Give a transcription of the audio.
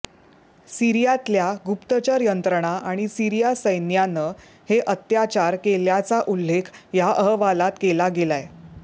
सीरियातल्या गुप्तचर यंत्रणा आणि सीरिया सैन्यानं हे अत्याचार केल्याचा उल्लेख या अहवालात केला गेलाय